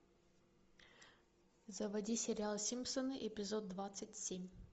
заводи сериал симпсоны эпизод двадцать семь